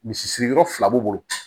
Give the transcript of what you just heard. Misi siri yɔrɔ fila b'u bolo